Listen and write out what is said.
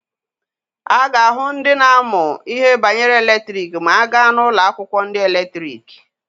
A ga-ahụ ndị na-amụ ihe banyere eletriki ma a gaa n'ụlọ akwụkwọ ndị eletriki.